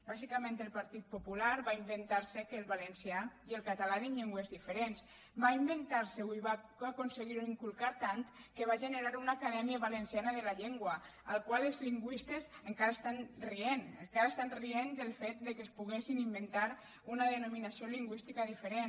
bàsica·ment el partit popular va inventar·se que el valencià i el català eren llengües diferents va inventar·s’ho i va aconseguir inculcar·ho tant que va generar una aca·dèmia valenciana de la llengua amb la qual cosa els lingüistes encara estan rient encara estan rient del fet que es poguessin inventar una denominació lingüísti·ca diferent